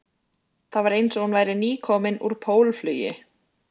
Það var eins og hún væri nýkomin úr pólflugi